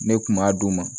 Ne kun b'a d'u ma